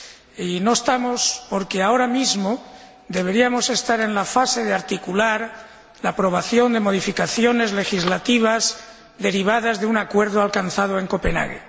Y no estamos porque ahora mismo deberíamos estar en la fase de articular la aprobación de modificaciones legislativas derivadas de un acuerdo alcanzado en Copenhague.